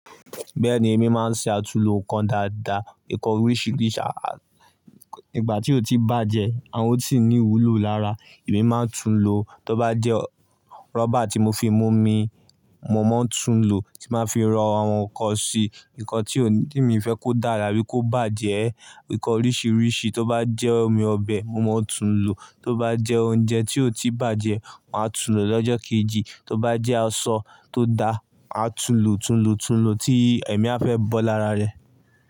Bẹ́ẹ̀ni èmi máa ń ṣe àtulò nǹkan dáadáa, nǹkan oríṣìíríṣìí. Nígbà tí ó ti bàjẹ́ àwọn ó sì ní ìwúlò lára, èmi máa ń tun lò. Tó bá jẹ́ rọ́bà tí mo fi mú omi, mo máa ń tun lò tí máa fi ro àwọn nǹkan sí i, nǹkan tí òní mi fẹ́ kó dára bí kò bá jẹ ẹ́. Nǹkan oríṣiríṣi, tó bá jẹ́ omi ọbẹ̀ mo máa tún lò, tó bá jẹ́ oúnjẹ tí ó ti bàjẹ́ màá tún lò lọ́jọ́ kejì, tó bá jẹ́ aṣọ tó da, màá tún lò, tún lò, tún lò tí èmi a fẹ́ bọ́ lára rẹ̀.